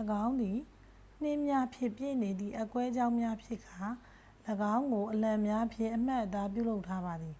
၎င်းသည် နှင်းများဖြင့်ပြည့်နေသည့် အက်ကွဲကြောင်းများဖြစ်ကာ ၎င်းကို အလံများဖြင့် အမှတ်အသား ပြုလုပ်ထားပါသည်